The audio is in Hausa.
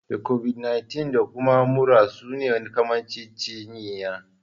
Da Kobid 19 da kuma mura suna kamanceceniya